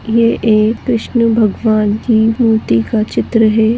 ये एक कृष्ण भगवान की मूर्ति का चित्र है।